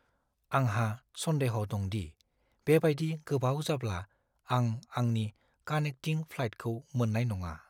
आंहा सन्देह' दं दि बेबायदि गोबाव जाब्ला आं आंनि कानेक्टिं फ्लाइटखौ मोन्नाय नङा।